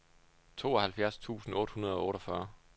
tooghalvfjerds tusind otte hundrede og otteogfyrre